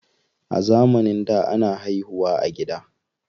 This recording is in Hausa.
A zamanin da, ana haihu wa a gida.